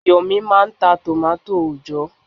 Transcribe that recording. Yomi máà ń ta tòmátò òòjọ́.